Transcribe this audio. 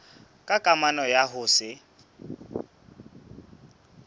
ka kamano ya ho se